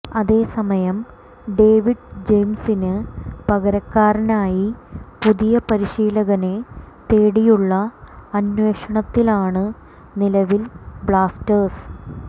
അതേ സമയം ഡേവിഡ് ജെയിംസിന് പകരക്കാരനായി പുതിയ പരിശീലകനെ തേടിയുള്ള അന്വേഷണത്തിലാണ് നിലവിൽ ബ്ലാസ്റ്റേഴ്സ്